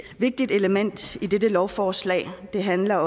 vigtigt element i dette lovforslag handler